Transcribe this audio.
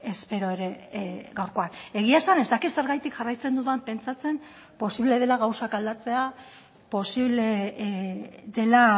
espero ere gaurkoan egia esan ez dakit zergatik jarraitzen dudan pentsatzen posible dela gauzak aldatzea posible dela